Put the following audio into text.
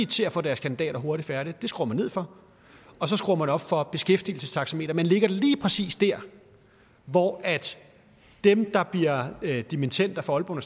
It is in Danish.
til at få deres kandidater hurtigt færdig det skruer man ned for og så skruer man op for et beskæftigelsestaxameter man lægger det lige præcis der hvor dem der bliver dimittender fra aalborg